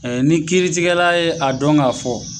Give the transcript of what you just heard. ni kiiritigɛla ye a dɔn ga fɔ